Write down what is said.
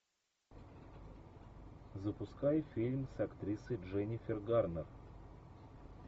запускай фильм с актрисой дженнифер гарнер